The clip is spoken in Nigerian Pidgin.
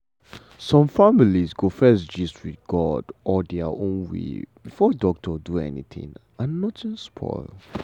some families go first gist with god or their own way before doctor do anything and nothing spoil.